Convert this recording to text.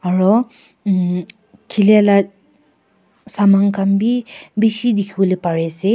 aro khilae la saman khan bi bishi dikhiwolae parease.